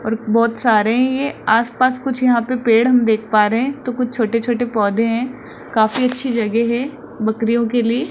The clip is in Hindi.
और बहोत सारे है ये आस पास कुछ यहां पे पेड़ हम देख पा रहे हैं तो कुछ छोटे छोटे पौधे हैं काफी अच्छी जगह है बकरियों के लिए --